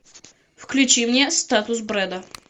включи мне статус бреда